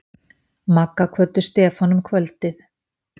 Magga kvöddu Stefán um kvöldið.